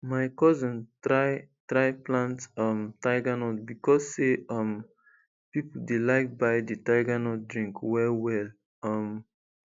my cousin try try plant um tigernut becos say um people dey like buy di tigernut drink well well um